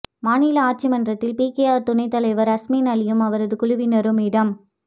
மாநில ஆட்சி மன்றத்தில் பிகேஆர் துணைத் தலைவர் அஸ்மின் அலியும் அவரது குழுவினரும் இடம்